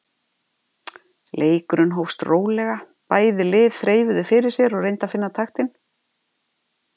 Leikurinn hófst rólega, bæði lið þreifuðu fyrir sér og reyndu að finna taktinn.